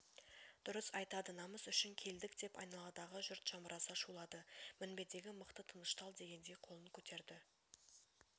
дұрыс айтады намыс үшін келдік деп айналадағы жұрт жамыраса шулады мінбедегі мықты тыныштал дегендей қолын көтерді